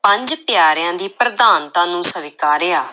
ਪੰਜ ਪਿਆਰਿਆਂ ਦੀ ਪ੍ਰਧਾਨਤਾ ਨੂੰ ਸਵੀਕਾਰਿਆ।